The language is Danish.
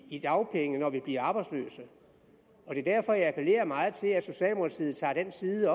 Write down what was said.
i dagpenge når man bliver arbejdsløs det er derfor jeg appellerer meget til at socialdemokratiet tager den side af